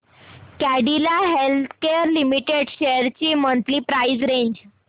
Cadila healthcare limited shares ची monthly price range